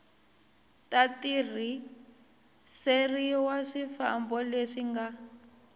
ta tirhiseriwa swifambo leswi nga